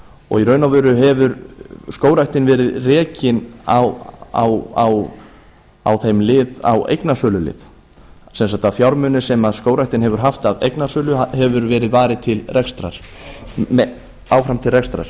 og í raun og veru hefur skógræktin verið rekin á þeim lið á eignasölulið sem sagt að fjármunir sem skógræktin hefur haft af eignasölu hefur verið varið áfram til rekstrar